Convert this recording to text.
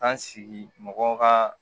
An sigi mɔgɔw ka